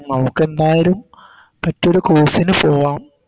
നമുക്കെന്തായാലും മറ്റൊരു Course ന് പോവാം